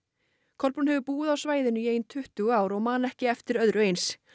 Kolbrún hefur búið á svæðinu í ein tuttugu ár og man ekki eftir öðru eins